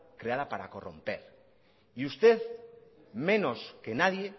creada para corromper y usted menos que nadie